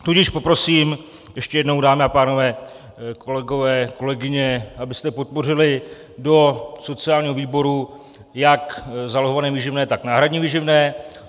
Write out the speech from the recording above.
Tudíž poprosím ještě jednou, dámy a pánové, kolegové, kolegyně, abyste podpořili do sociálního výboru jak zálohované výživné, tak náhradní výživné.